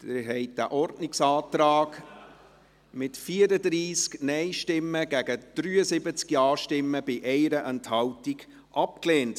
Sie haben diesen Ordnungsantrag abgelehnt, mit 34 Nein- gegen 73 Ja-Stimmen bei 1 Enthaltung abgelehnt.